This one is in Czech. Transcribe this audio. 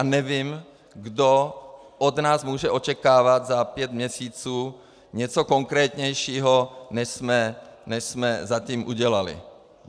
A nevím, kdo od nás může očekávat za pět měsíců něco konkrétnějšího, než jsme zatím udělali.